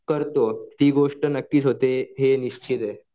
करतो ती गोष्ट नक्कीच होते ही गोष्ट निश्चित आहे.